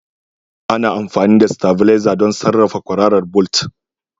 Ana amfani da stavilizer don sarrafa kwararar bolt.